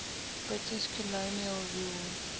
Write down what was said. british colonial rule